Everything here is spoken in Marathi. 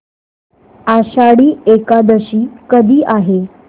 आषाढी एकादशी कधी आहे